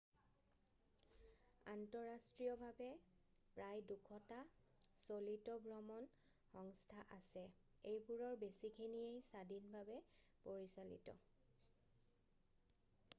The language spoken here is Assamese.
আন্তঃৰাষ্ট্ৰীয়ভাৱে প্ৰায় 200টা চলিত ভ্ৰমণ সংস্থা আছে এইবোৰৰ বেছিখিনিয়েই স্বাধীনভাৱে পৰিচালিত